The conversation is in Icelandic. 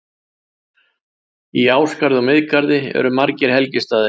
Í Ásgarði og Miðgarði eru margir helgistaðir.